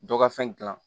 Dɔ ka fɛn gilan